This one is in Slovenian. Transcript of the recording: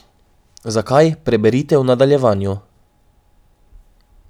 Zakaj, preberite v nadaljevanju.